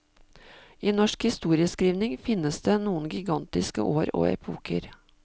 I norsk historieskrivning finnes det noen gigantiske år og epoker.